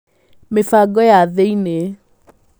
Mĩbango ya thĩinĩ: